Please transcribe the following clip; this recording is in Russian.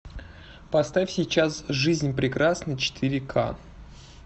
поставь сейчас жизнь прекрасна четыре ка